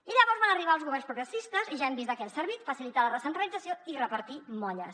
i llavors van arribar els governs progressistes i ja hem vist de què han servit facilitar la recentralització i repartir molles